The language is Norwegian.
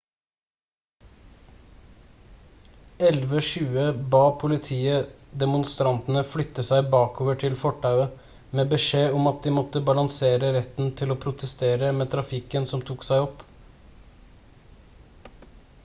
11.20 ba politiet demonstrantene flytte seg bakover til fortauet med beskjed om at de måtte balansere retten til å protestere med trafikken som tok seg opp